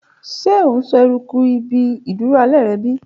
Ṣe o n sọ eruku ibi iduro alẹ rẹ bi?